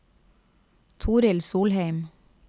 Torild Solheim